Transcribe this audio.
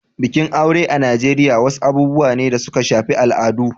Bikin aure a Najeriya wasu abubuwa ne da suka shafi al'adu.